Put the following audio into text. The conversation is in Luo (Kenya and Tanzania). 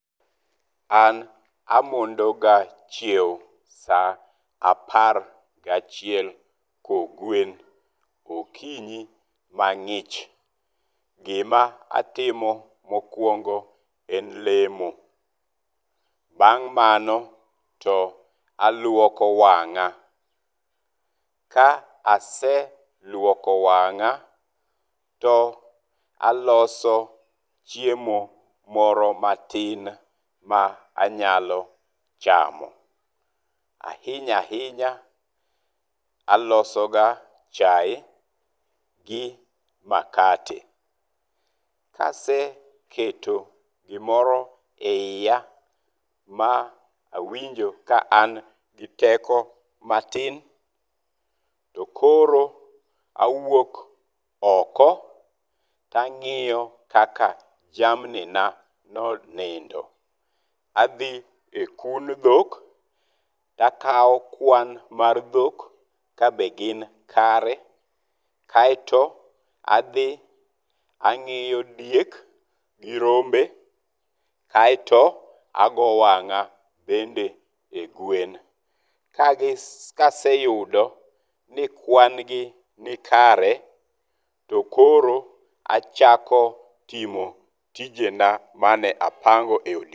An amondo ga chiewo sa apar gachiel kogwen okinyi mang'ich. Gima atimo mokwongo en lemo. Bang' mano to aluoko wang'a. Ka aseluoko wang'a to aloso chiemo moro matin ma anyalo chamo. Ahinya ahinya aloso ga chae gi makate. Kase keto gimoro eyia ma awinjo ka an gi teko matin, to koro awuok oko to ang'iyo kaka jamni na nonindo. Adhi e kund dhok to akawo kwan mar dhok ka be gin kare. Kaeto adhi ang'iyo diek gi rombe kaeto ago wang'a bende e gwen. Kaseyudo ni kwan gi ni kare to koro achako timo tijena mane apango.